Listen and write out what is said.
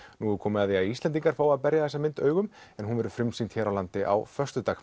nú er komið að því að Íslendingar fái að berja þessa mynd augum en hún verður frumsýnd hér á landi á föstudag